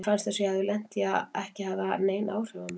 Mér fannst það sem ég hafði lent í ekki hafa haft nein áhrif á mig.